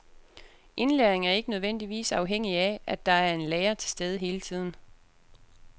Indlæring er ikke nødvendigvis afhængig af, at der er en lærer til stede hele tiden.